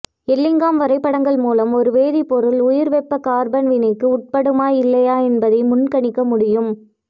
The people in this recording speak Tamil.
எல்லிங்காம் வரைபடங்கள் மூலம் ஒரு வேதிப்பொருள் உயர்வெப்பக்கார்பன் வினைக்கு உட்படுமா இல்லையா என்பதை முன்கணிக்க முடியும்